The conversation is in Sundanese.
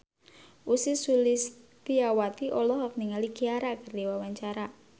Ussy Sulistyawati olohok ningali Ciara keur diwawancara